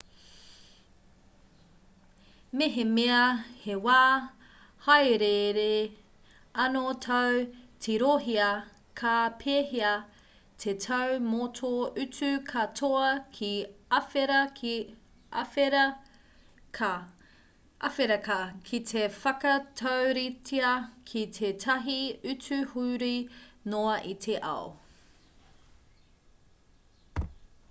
mehemea he wā hāereere anō tāu tirohia ka pēhea te tau mō tō utu katoa ki āwherika ki te whakatauritea ki tētahi utu huri noa i te ao